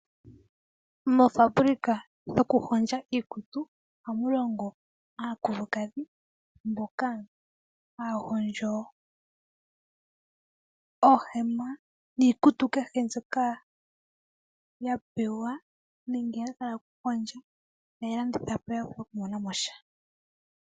Moofabulika dhokuhondja iikutu ohamulongo aakulukadhi mboka haa hondjo oohema niikutu kehe mbyoka ya pewa nenge ya hala okuhondja e ta yeyi landitha po ya vule okumona mo sha.